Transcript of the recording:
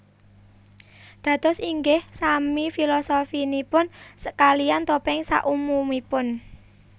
Dados ingih sami filosofinipun kalian topeng sak umumipun